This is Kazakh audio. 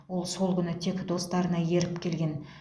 ол сол күні тек достарына еріп келген